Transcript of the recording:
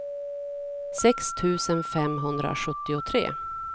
sex tusen femhundrasjuttiotre